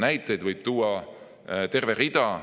Näiteid võib tuua terve hulga.